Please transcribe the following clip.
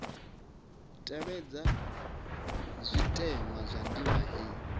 tevhedzwa zwitenwa zwa ndima heyi